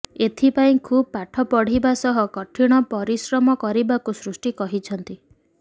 ଏଥିପାଇଁ ଖୁବ୍ ପାଠପଢିବା ସହ କଠିନ ପରିଶ୍ରମ କରିବାକୁ ସୃଷ୍ଟି କହିଛନ୍ତି